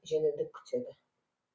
жеңілдік күтеді